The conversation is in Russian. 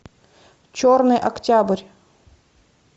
черный октябрь